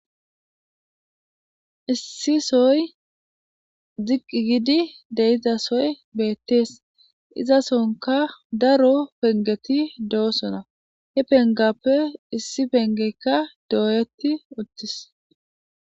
issi soy ziqqi gidi deizasoy beettees izasonka daro pengeti doosona he pengappe issi pengeykka dooyeti uttis